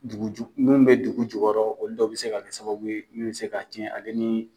Dugu ju mun bɛ dugu jukɔrɔ olu dɔw bɛ se ka kɛ sababu ye min bɛ se ka cɛn ale ni